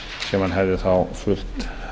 sem hann hefði þá fullt